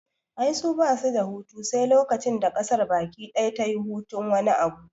Ai su basu da hutu sai lokacin da ƙasar baki daya tayi hutun wani abu